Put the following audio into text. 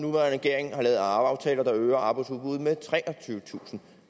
regering har lavet aftaler der øger arbejdsudbuddet med treogtyvetusind